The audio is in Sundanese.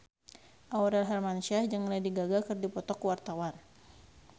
Aurel Hermansyah jeung Lady Gaga keur dipoto ku wartawan